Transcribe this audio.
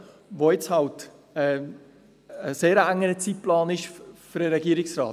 Dies ist halt jetzt für den Regierungsrat ein sehr enger Zeitplan.